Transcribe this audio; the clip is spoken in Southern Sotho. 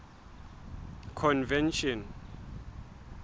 convention